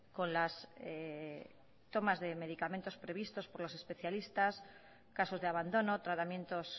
con las tomas de medicamentos previstos por los especialistas casos de abandono tratamientos